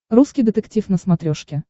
русский детектив на смотрешке